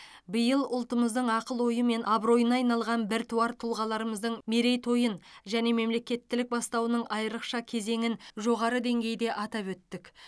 биыл ұлтымыздың ақыл ойы мен абыройына айналған біртуар тұлғаларымыздың мерейтойын және мемлекеттілік бастауының айрықша кезеңін жоғары деңгейде атап өттік